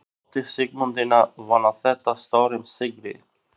En átti Sigmundína von á þetta stórum sigri?